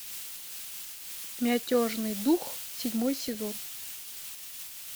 мятежный дух седьмой сезон